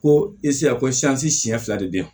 Ko ko siɲɛ fila de be yan